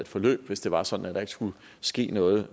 forløb hvis det var sådan at der ikke skulle ske noget